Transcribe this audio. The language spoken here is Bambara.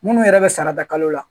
Munnu yɛrɛ bɛ sara ta kalo la